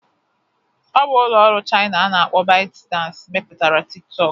Ọ bụ ụlọ ọrụ Chaina a na-akpọ ByteDance mepụtara Tịk tọkụ